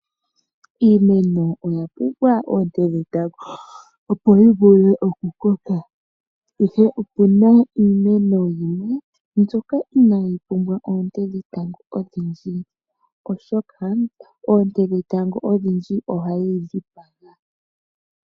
Iimeno oya pumbwa oonte dhetango opo yi vule okukoka ihe opuna iimeno yimwe mbyoka inayi pumbwa oonte dhetango odhindji oshoka oonte dhetango odhindji ohadhi dhipaga.